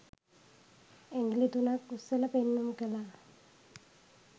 ඇගිලි තුනක් උස්සල පෙන්නුම් කළා